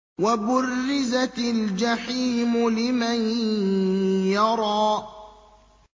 وَبُرِّزَتِ الْجَحِيمُ لِمَن يَرَىٰ